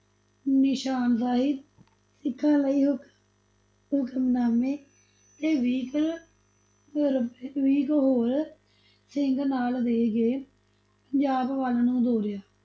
ਨਿਸ਼ਾਨ ਸਾਹਿਬ, ਸਿੱਖਾਂ ਲਈ ਹੁਕਮ ਹੁਕਨਾਮੇ, ਤੇ ਵੀਹ ਕੁ ਹੋਰ ਸਿੰਘ, ਵੀਹ ਕੁ ਹੋਰ ਸਿੰਘ ਨਾਲ ਦੇਕੇ ਪੰਜਾਬ ਵਲ ਨੂੰ ਤੋਰਿਆ।